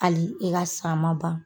Hali i ka sa ma ban